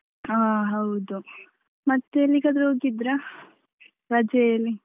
ಹ ಹೌದು ಮತ್ತೆ ಎಲ್ಲಿಗಾದ್ರೂ ಹೋಗಿದ್ರ ರಜೆಯಲ್ಲಿ?